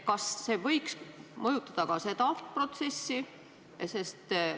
Kas see võiks mõjutada ka seda protsessi?